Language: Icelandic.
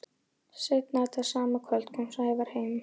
Seinna þetta sama kvöld kom Sævar heim.